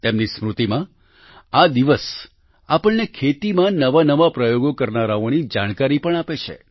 તેમની સ્મૃતિમાં આ દિવસ આપણને ખેતીમાં નવા નવા પ્રયોગો કરનારાઓની જાણકારી પણ આપે છે